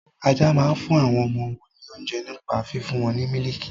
Ajá máa ń fún àwọn ọmọ wọn ní oúnjẹ nípa fífún wọn ní mílìkì.